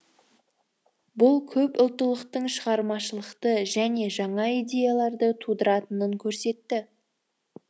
бұл көпұлттылықтың шығармашылықты және жаңа идеяларды тудыратынын көрсетті